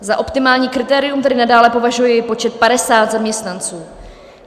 Za optimální kritérium tedy nadále považuji počet 50 zaměstnanců.